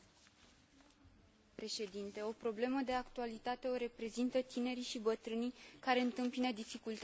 O problemă de actualitate o reprezintă tinerii și bătrânii care întâmpină dificultăți în găsirea unui loc de muncă.